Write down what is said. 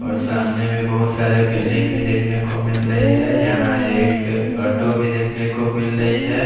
और सामने में बहोत सारे बिल्डिंग भी देखने को मिल रही है यहां एक ऑटो भी देखन को मिल रही है।